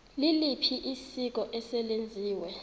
liliphi isiko eselenziwe